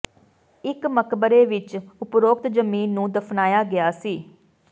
ਇੱਕ ਮਕਬਰੇ ਵਿੱਚ ਉਪਰੋਕਤ ਜ਼ਮੀਨ ਨੂੰ ਦਫ਼ਨਾਇਆ ਗਿਆ ਸੀ